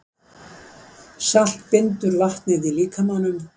Salt bindur vatnið í líkamanum.